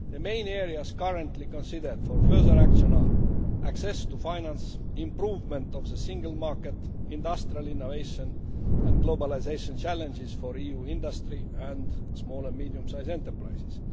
The main areas currently considered for further action are access to finance, improvement of the single market, industrial innovation and globalisation challenges for EU industry and small and medium sized enterprises.